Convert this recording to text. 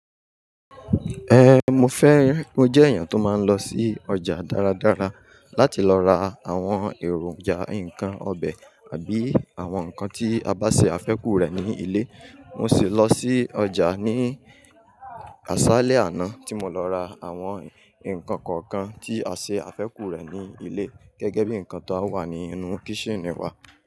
Mo fẹ́, mo jẹ́ èèyàn tó máa ń lọ sí ọjà dáradára láti lọ ra àwọn èròjà, nǹkan ọbẹ̀ àbí àwọn nǹkan tí a bá ṣe àfẹ́kù rẹ̀ ní ilé. Mo sì lọ sí ọjà ní aṣálẹ́ àná tí mo lọ ra àwọn nǹkan kọ̀ọ̀kan tí a ṣe àfẹ́kù rẹ̀ ní ilé gẹ́gẹ́ bí nǹkan tó wà ní inú kíṣìnì wá.